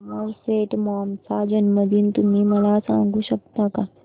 Somerset Maugham चा जन्मदिन तुम्ही मला सांगू शकता काय